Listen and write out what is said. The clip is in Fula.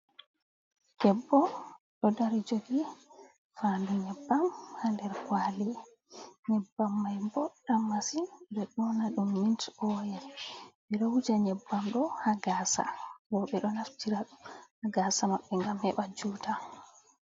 Deɓɓo do dari jogi fadu nyeɓɓam hander kwali, nyeɓɓam mai boddam masin be dona dum mint oyel, ɓedo wuja nyeɓɓam do ha gasa rowɓe do naftira dum ha gasa mabɓe gam heɓa juta.